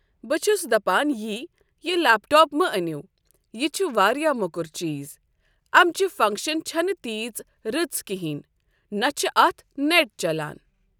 بہٕ چھُس دَپَان یی یہِ لٮ۪پٹاپ مہٕ أنیو یہِ چھُ واریاہ موٚکُر چیٖز أمۍ چہِ فَنٛگشَن چھنہ تیٖژ رٕژ کِہیٖنۍ نہ چھِ اَتھ نٮ۪ٹ چَلَان ۔